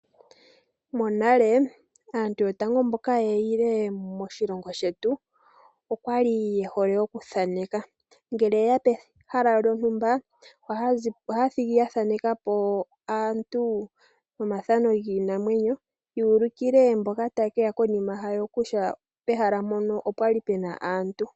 Monale aantu yotango mboka ye yi le moshilongo shetu okwali ye hole okuthaneka. Ngele ye ya pehala lyontumba, ohaya thigi ya thaneka po aantu nomathano giinamwenyo. Ya ulikile mboka taye keya konima yawo kutya pehala mpono opwa li pena aantu.